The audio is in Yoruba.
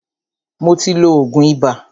Mó tí ló oògùn ibà.